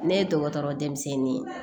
Ne ye dɔgɔtɔrɔ denmisɛnnin ye